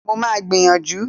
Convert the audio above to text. Mo máa gbìyànjú